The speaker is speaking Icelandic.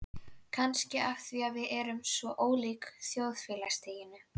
Kannski af því við erum af svo ólíkum þjóðfélagsstigum.